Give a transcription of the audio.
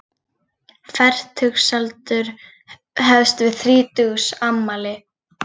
Fertugsaldur hefst við þrítugsafmæli.